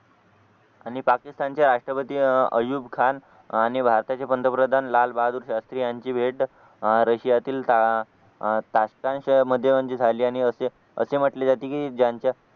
आणि पाकिस्तानचे राष्ट्रपती आयुब खान आणि भारताचे पंतप्रधान लालबहादूर शास्त्री यांची भेट रशियातील साष्टांग अह साष्टांग मध्ये म्हणजे झाली आणि असे असे म्हटले जाते की ज्यांच्या